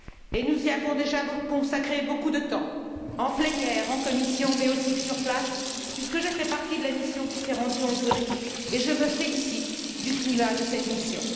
Et nous y avons déjà consacré beaucoup de temps, en plénière, en commission, mais aussi sur place, puisque j'ai fait partie de la mission qui s'est rendue en Hongrie, et je me félicite du climat de cette mission.